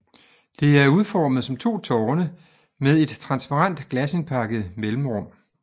Det er udformet som to tårne med et transparent glasindpakket mellemrum